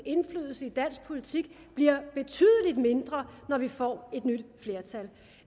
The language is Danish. indflydelse i dansk politik bliver betydelig mindre når vi får et nyt flertal